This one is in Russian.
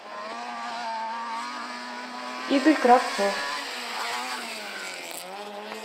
игорь кравцов